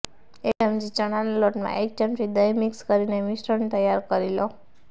એક ચમચી ચણાના લોટમાં એક ચમચી દહીં મિક્સ કરીને મિશ્રણ તૈયાર કરી લો